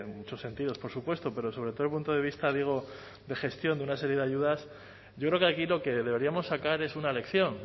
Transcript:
muchos sentidos por supuesto pero sobre todo el punto de vista digo de gestión de una serie de ayudas yo creo que aquí lo que deberíamos sacar es una lección